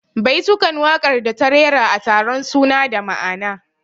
Baitukan waƙar da ta rera a taron suna da ma'ana